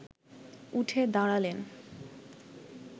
উঠে দাঁড়ালেন